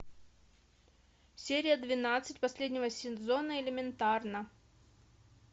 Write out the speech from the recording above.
серия двенадцать последнего сезона элементарно